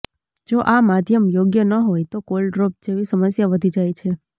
જો આ માધ્યમ યોગ્ય ન હોયતો કોલ ડ્રોપ જેવી સમસ્યા વધી જાય છે